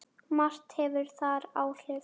Margt hefur þar áhrif.